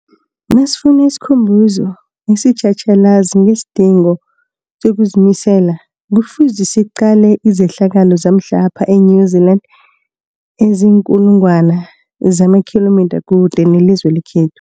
Nasifuna isikhumbuzo esitjhatjhalazi ngesidingo sokuzimisela, Kufuze siqale izehlakalo zamhlapha e-New Zealand eziinkulu ngwana zamakhilomitha kude nelizwe lekhethu.